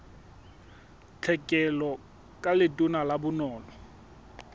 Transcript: tlhekelo ka letona la bonono